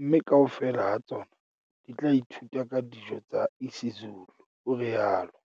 mme kaofela ha tsona di tla ithuta ka dijo tsa isiZulu," o rialo